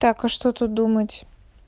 так а что тут думать